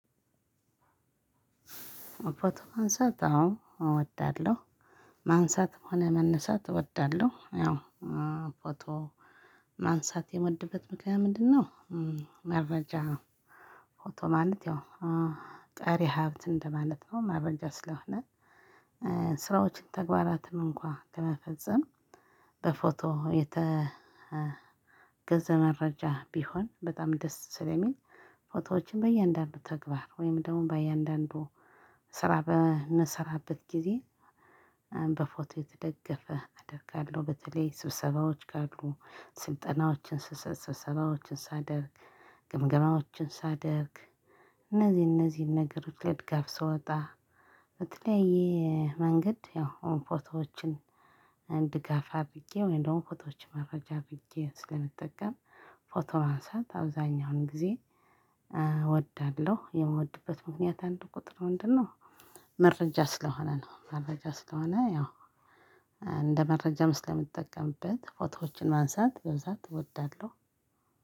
ፎቶ ማንሳት አዎ እወዳለሁ። ማንሳትም ሆነ መነሳት እወዳለሁ። ያው ፎቶ ማንሳት የምወድበት ምክንያት ምንድነው መረጃ ፎቶ ማለት ያው ቀሪ ሀብት እንደማለት ነው መረጃ ስለሆነ ስራዎችን ተግባራትን እንኳን ለመፈጸም በፎቶ የተገዘ መረጃ ቢሆን በጣም ደስ ስለሚል ፎቶዎችን በእያንዳንዱ ተግባር ወይም ደግሞ በእያንዳንዱ ስራ በምሰራበት ጊዜ በፎቶ የተደገፈ አደርጋለሁ በተለይ ስብሰባዎች ካሉ ስልጠናዎችን ስሰጥ፣ ስብሰባዎችን ሳደርግ፣ ግምገማዎችን ሳደርግ እነዚህን እነዚህን ነገሮች ለድጋፍ ስወጣ በተለያየ መንገድ ያው ፎቶዎችን ድጋፍ አድርጌ ወይም ደግሞ ፎቶዎችን መረጃ አድርጌ ስለምጠቀም ፎቶ ማንሳት አብዛኛውን ጊዜ እወዳለሁ። የምወድበት ምክንያት አንድ ቁጥር ምንድነው? መረጃ ስለሆነ ነው። መረጃ ስለሆነ ያው እንደ መረጃም ስለምጠቀምበት ፎቶዎችን ማንሳት በብዛት እወዳለሁ።